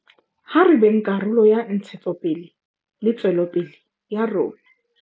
Ha re beng karolo ya ntshetsopele le tswelopele ya rona.